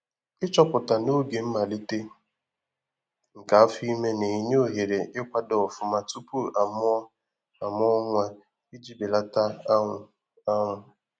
Ichoọpụta n’oge mmalite nke afọime na- enye ohere ikwado ọfụma tụpụ a mụọ a mụọ nwa, iji belata anwụ anwụ